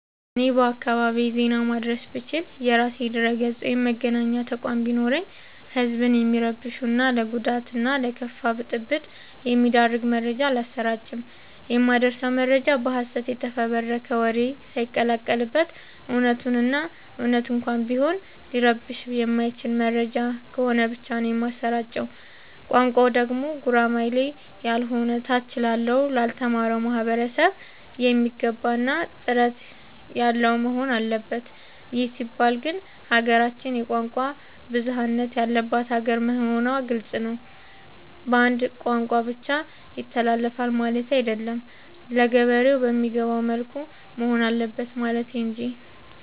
እኔ በአካባቢዬ ዜና ማድረስ ብችል። የራሴ ድረገፅ ወይም መገናኛ ተቋም ቢኖረኝ ህዝብን የሚረብሹ እና ለጉዳት እና ለከፋ ብጥብ የሚዳርግ መረጃ አላሰራጭም። የማደርሰው መረጃ በሀሰት የተፈበረከ ወሬ ሳይቀላቀል በት እውነቱን እና እውነት እንኳን ቢሆን ሊረብሸው የማይችል መረጃ ነው ከሆነ ብቻ ነው የማሰራጨው። ቋንቋው ደግሞ ጉራማይሌ ያሎነ ታች ላለው ላልተማረው ማህበረሰብ የሚገባ እና ጥርት ያለወሆን አለበት ይህ ሲባል ግን ሀገራችን የቋንቋ ብዙሀለት ያለባት ሀገር መሆኗ ግልፅ ነው። በአንድ ቋንቋ ብቻ ይተላለፍ ማለቴ አይደለም ለገበሬ በሚገባው መልኩ መሆን አለበት ማለት እንጂ።